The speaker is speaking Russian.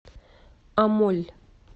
амоль